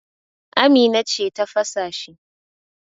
Amina ce ta fasa shi.